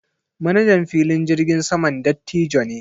Manajan filin jirgin saman dattijo ne.